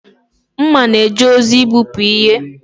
Mma na-eje ozi igbubi ihe